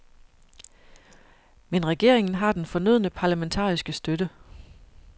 Men regeringen har den fornødne parlamentariske støtte.